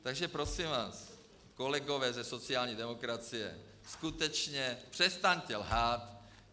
Takže prosím vás, kolegové ze sociální demokracie, skutečně přestaňte lhát.